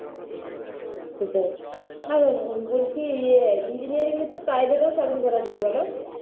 সেটাই আর বলছি ইয়ে engineering এ তো privet এও চাকরি করা যায় বলো